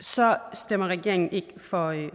stemmer regeringen ikke for